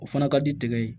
O fana ka di tigɛ ye